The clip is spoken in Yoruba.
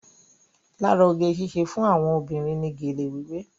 Lára oge síṣe fún àwọn obìnrin ní gélé wíwé.